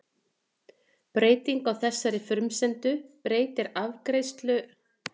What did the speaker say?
Breyting á þessari frumsendu breytir afleiðslukerfinu algjörlega og verður til að skapa nýja flatarmálsfræði.